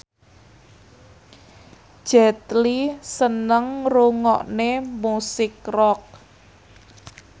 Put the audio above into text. Jet Li seneng ngrungokne musik rock